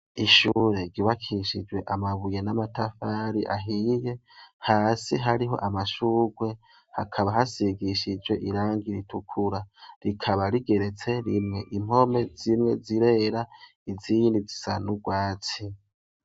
Ishure ryubakishijwe amabuye n'amatafari ahiye hasi hariho amashugwe hakaba hasigishijwe irangi ritukura, rikaba rigeretse rimwe, impome zimwe zirera Izindi zisa n’ugwatsi.